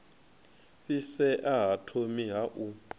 fhisea ha thomi ha u